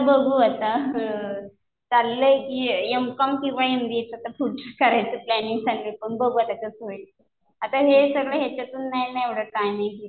आता बघू आता. चाललंय कि एम.कॉम किंवा एमबीएचं आता पुढचं करायचंय प्लॅनिंग. पण बघू आता कसं होईल. आता हे सगळं ह्याच्यातून नाही ना एवढा टायमिंग